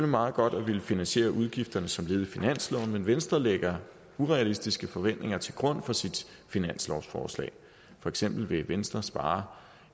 meget godt at ville finansiere udgifterne som led i finansloven men venstre lægger urealistiske forventninger til grund for sit finanslovsforslag for eksempel vil venstre spare